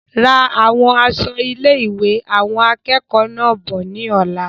Ra àwọn aṣọ ilé-ìwé awọn akẹẹkọ náà bọ̀ ní ọ̀la